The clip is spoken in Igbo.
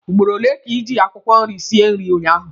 Ugboro ole ka ị ji akwụkwọ nri sie nri ụnyaahụ?